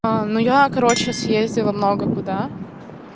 а ну я короче съездила много куда